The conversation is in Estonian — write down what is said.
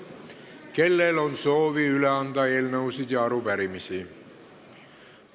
Kellel on soovi anda üle eelnõusid või arupärimisi?